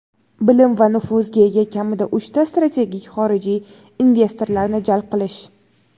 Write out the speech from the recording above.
bilim va nufuzga ega kamida uchta strategik xorijiy investorlarni jalb qilish;.